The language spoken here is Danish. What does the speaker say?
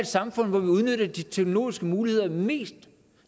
et samfund hvor vi udnytter de teknologiske muligheder mest